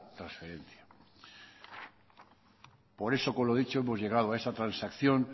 tal transferencia por eso con lo dicho hemos llegado a esa transacción